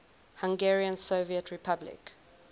hungarian soviet republic